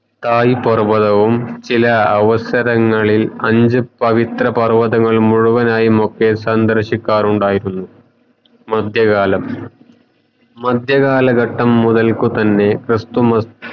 തായ് പർവ്വതവും ചില അവസരങ്ങളിൽ അഞ്ചു പവിത്ര പർവ്വതങ്ങൾ മുഴുവനുയുമൊക്കെ സന്ദർശിക്കാറുണ്ടായിരുന്നു മദ്യ കാലം മദ്യ കാലഘട്ടം മുതൽക്കു തന്നെ ക്രിസ്തമത